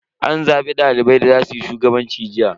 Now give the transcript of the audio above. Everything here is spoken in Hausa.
An zabi dalibai da za suyi shugabanci jiya.